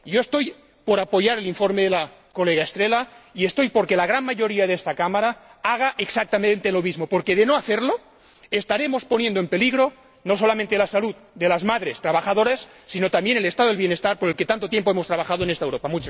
Yo estoy por apoyar el informe de la colega Estrela, y estoy por que la gran mayoría de esta Cámara haga exactamente lo mismo, porque, de no hacerlo, estaremos poniendo en peligro no solamente la salud de las madres trabajadoras, sino también el Estado del bienestar por el que tanto tiempo hemos trabajado en esta Europa.